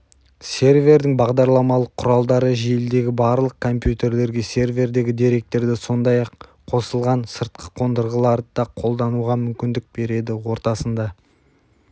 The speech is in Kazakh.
сервердің бағдарламалық құралдары желідегі барлық компьютерлерге сервердегі деректерді сондай-ақ қосылған сыртқы қондырғыларды да қолдануға мүмкіндік береді ортасында